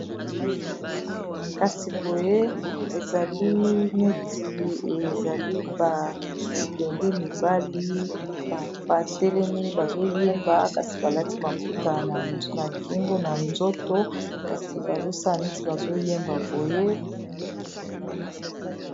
Kasi boye ezali neti ezali ba bilenge mibali ba telemi bazo yemba kasi ba lati maputa na kingu na nzoto kasi bazo sala neti bazo yemba boye